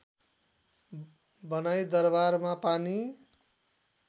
बनाई दरबारमा पानी